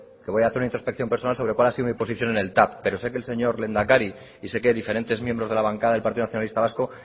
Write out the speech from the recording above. que voy a hacer una introspección personal sobre cuál ha sido mi posición en el tav pero sé que el señor lehendakari y sé que diferentes miembros de la bancada del partido nacionalista vasco